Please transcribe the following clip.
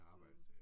Mh